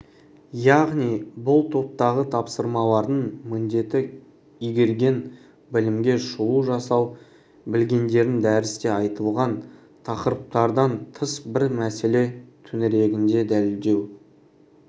яғни бұл топтағы тапсырмалардың міндеті игерген білімге шолу жасау білгендерін дәрісте айтылған тақырыптардан тыс бір мәселе төңірегінде дәлелдеу